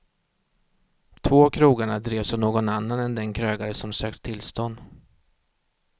Två av krogarna drevs av någon annan än den krögare som sökt tillstånd.